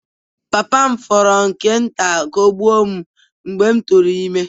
Papa m fọrọ nke nta ka ọ gbuo m mgbe m tụrụ ime.